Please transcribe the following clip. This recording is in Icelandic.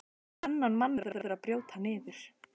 Þennan mann verður að brjóta niður.